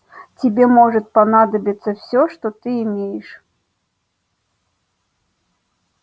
тебе может понадобиться все что ты имеешь